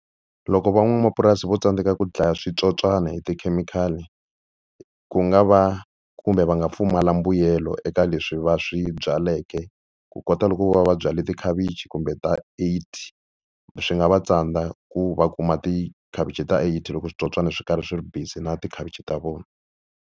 Loko van'wamapurasi vo tsandzeka ku dlaya switsotswani hi tikhemikhali ku nga va kumbe va nga pfumala mbuyelo eka leswi va swi byaleke, ku kota loko vo va va byale tikhavichi kumbe ta eighty swi nga va tsandza ku va kuma tikhavichi ta eighty loko switsotswana swi karhi swi ri busy na tikhavichi ta vona.